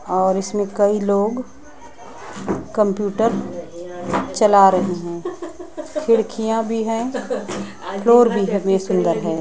और इसमें कई लोग कंप्यूटर चला रहे हैं खिड़कियां भी है फ्लोर भी है वी सुन्दर है।